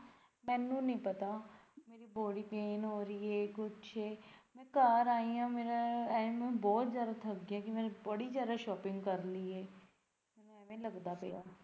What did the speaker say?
ਮੈਨੂੰ ਨੀ ਪਤਾ ਮੇਰੀ body pain ਹੋ ਰਹੀ ਐ ਕੁੱਛ ਮੈਂ ਘਰ ਆਈ ਆ ਮੇਰਾ ਐਨੂੰ ਬਹੁਤ ਜਿਆਦਾ ਥੱਕ ਗਿਆ ਮੈਂ ਬੜੀ ਜਿਆਦਾ ਐ shopping ਕਰ ਲਈ ਐ।